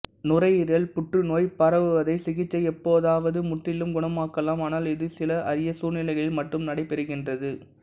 நுரையீரல் புற்றுநோய் பரவுவதை சிகிச்சை எப்போதாவது முற்றிலும் குணமாக்கலாம் ஆனால் இது சில அரிய சூழ்நிலைகளில் மட்டும் நடைபெறுகின்றது